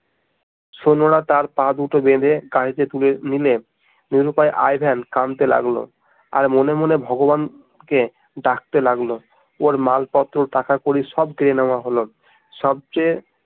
সৈন্যরা তার পা দুটো বেধে গাড়ি তে তুলে নিলে নিরুপায় আই ভেন কানতে লাগলো আর মনে মনে ভগবান কে ডাকতে লাগলো